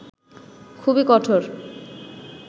খুবই কঠোর